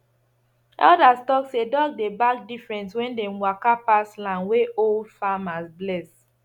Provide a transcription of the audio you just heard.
elders talk say dog dey bark different when dem waka pass land wey old farmers bless